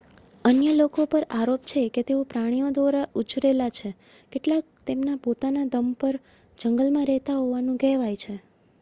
અન્ય લોકો પર આરોપ છે કે તેઓ પ્રાણીઓ દ્વારા ઉછરેલા છે કેટલાક તેમના પોતાના દમ પર જંગલમાં રહેતા હોવાનું કહેવાય છે